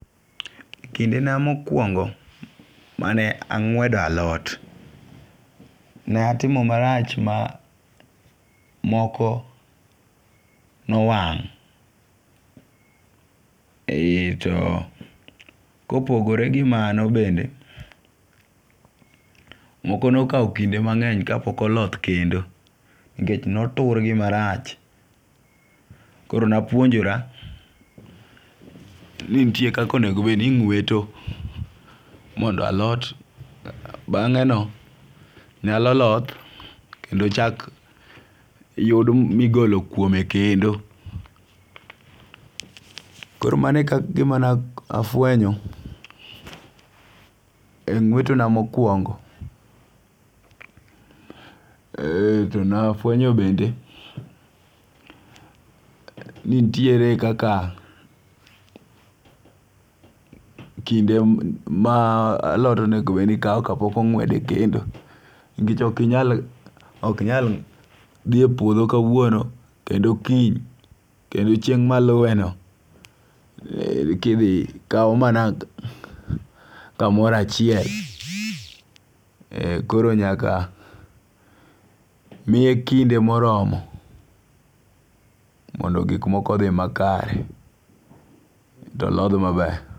Kindena mokwongo mane ang'wedo alot ne atimo marach ma moko nowang'. Aeto kopogore gi mano bende moko nokawo kinde mang'eny kapok oloth kendo nikech notur gi marach. Koro napuonjora ni nitie kaka onengo bed ni ing'eweto mondo alot bang'e no nyalo loth kendo chak yud migolo kuome kendo. Koro mano e gima ne afwenyo eng'weto na mokwongo. To ne afwenyo bende ni nitiere kaka kinde ma alot onego bed ni kaw ka pok ongwed kendo. Nikech ok inyal dhie puodho kawuono kendo kiny kendo chieng' maluwe no kidhi kaw mana kamoro achiel. Koro nyaka miye kinde moromo mondo gik moko odhi makare to lodh maber.